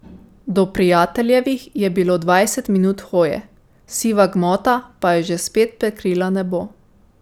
Do Prijateljevih je bilo dvajset minut hoje, siva gmota pa je že spet prekrila nebo.